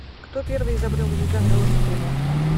кто первый изобрел езда на велосипеде